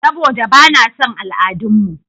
Saɓoda ba na son al'adun mu.